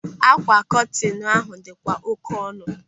Ákwà kọtinu ahụ dị kwa oké ọnụ.